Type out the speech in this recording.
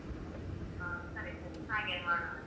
ಹ ಸರಿ ಸರಿ ಹಾಗೇನೆ ಮಾಡೋಣ.